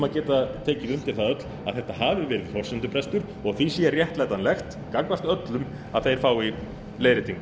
að geta tekið undir það öll að þetta hafi verið forsendubrestur og því sé réttlætanlegt gagnvart öllum að þeir fái leiðréttingu